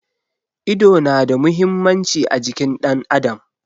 Ido na da muhimmanci a jikin ɗan adam.